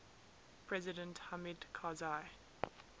president hamid karzai